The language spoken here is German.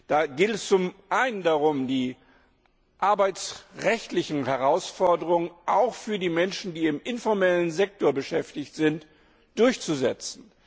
Da geht es zum einen darum, die arbeitsrechtlichen Herausforderungen auch für die Menschen, die im informellen Sektor beschäftigt sind, durchzusetzen.